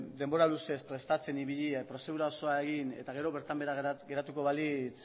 denbora luzez prestatzen ibili den prozedura osoa egin eta gero bertan behera geratuko balitz